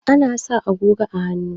Ana sa agogo a hannu